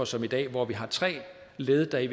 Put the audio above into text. som i dag hvor vi har tre led der i